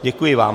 Děkuji vám.